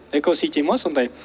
экосити ма сондай